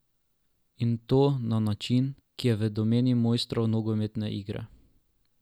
In to na način, ki je v domeni mojstrov nogometne igre.